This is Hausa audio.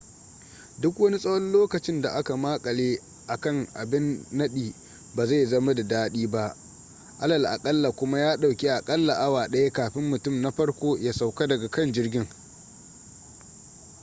duk wani tsawon lokacin da aka makale a kan abin nadi ba zai zama da dadi ba alal akalla kuma ya dauki a kalla awa daya kafin mutum na farko ya sauka daga kan jirgin